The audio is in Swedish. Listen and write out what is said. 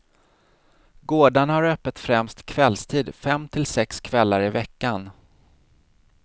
Gårdarna har öppet främst kvällstid, fem till sex kvällar i veckan.